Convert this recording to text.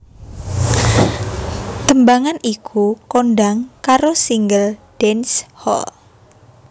Tembangan iku kondhang karo single dance hall